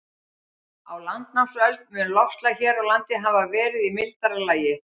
Á landnámsöld mun loftslag hér á landi hafa verið í mildara lagi.